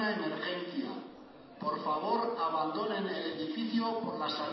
atencion por favor esto es una emergencia abandonen el edificio por las salidas